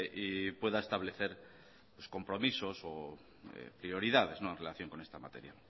y pueda establecer los compromisos o prioridades en relación con esta materia